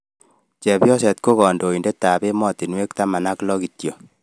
Chebyoset ko kandoindetab emostunwek taman ak lo kityo